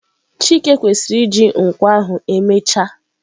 chike kwesiri iji nkwọ ahu emechaa?